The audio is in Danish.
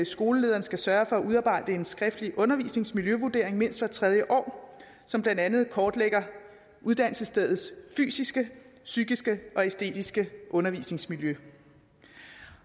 skolelederen skal sørge for at udarbejde en skriftlig undervisningsmiljøvurdering mindst hver tredje år som blandt andet kortlægger uddannelsesstedets fysiske psykiske og æstetiske undervisningsmiljø